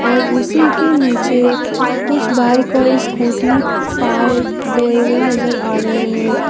और उसी के नीचे कुछ बाइक और स्कूटी पार्क हुए नजर आ रहे हैं।